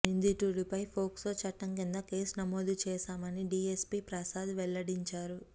నిందితుడిపై POCSO చట్టం కింద కేసు నమోదు చేశామని డీఎస్పీ ప్రసాద్ వెల్లడించారు